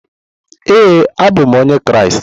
Ee, abụ m onye Kraịst.